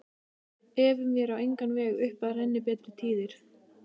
Efum vér á engan veg upp að renni betri tíðir